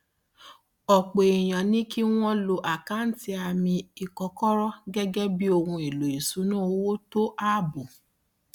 ọpọ èèyàn ní kí wọn lo àkáǹtì àmì ìkọkọrọ gẹgẹ bí ohun èlò ìṣúnná owó tó ààbò